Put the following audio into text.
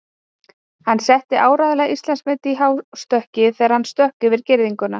Hann setti áreiðanlega Íslandsmet í hástökki þegar hann stökk yfir girðinguna.